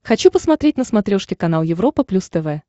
хочу посмотреть на смотрешке канал европа плюс тв